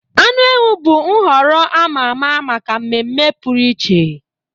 Anụ ewu bụ nhọrọ a ma ama maka mmemme pụrụ iche.